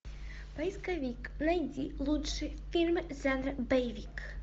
поисковик найди лучшие фильмы жанра боевик